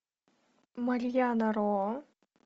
марьяна ро